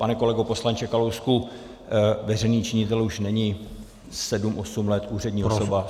Pane kolego poslanče Kalousku, veřejný činitel už není sedm osm let úřední osoba.